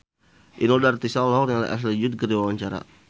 Inul Daratista olohok ningali Ashley Judd keur diwawancara